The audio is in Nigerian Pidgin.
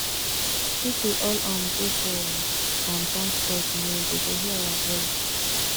make we all um go for um town square tomorrow dey go hear our voice